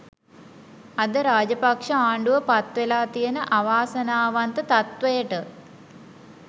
අද රාජපක්ෂ ආණ්ඩුව පත් වෙලා තියෙන අවාසනාවන්ත තත්වයට